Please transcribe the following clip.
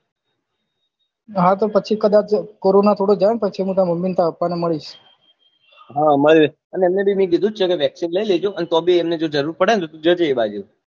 હા તો પછી કદાચ કોરોના થોડો જાય ને તો પછી તાર mummy ને તાર papa મળી લઉં હ મળી લેજે એમને ભી મેં કીધું જ છે કે vaccine લઈ લેજો અને તો ભી એમને જો જરૂર પડે ને તો જજે એ બાજુ